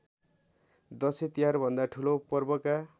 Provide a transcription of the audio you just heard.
दशैँतिहारभन्दा ठूलो पर्वका